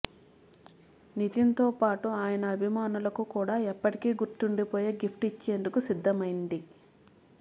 నితిన్తో పాటు ఆయన అభిమానులకు కూడా ఎప్పటికీ గుర్తుండిపోయే గిఫ్ట్ను ఇచ్చేందుకు సిద్ధమైంది